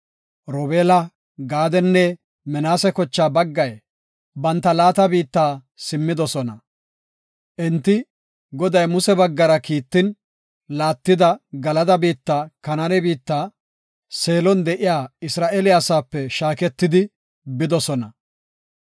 Robeela, Gaadenne Minaase kochaa baggay banta laata biitta simmidosona. Enti, Goday Muse baggara kiittin laattida Galada biitta, Kanaane biittan, Seelon de7iya Isra7eele asaape shaaketidi bidosona.